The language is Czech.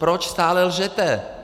Proč stále lžete?